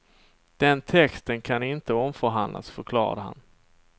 Den texten kan inte omförhandlas, förklarade han.